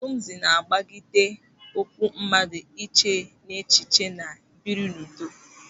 Taoism na-agbagide ụkwụ mmadụ ịche echiche ma biri n'udo.